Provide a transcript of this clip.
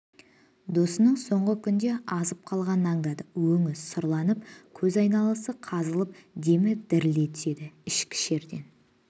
досының соңғы күндерде азып қалғанын андады өңі сүрланып көз айналасы қазылып демі дірілдей түседі ішкі шерден